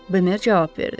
Bemer cavab verdi.